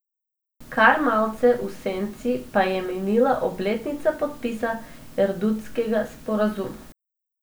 Kar malce v senci pa je minila obletnica podpisa erdutskega sporazuma.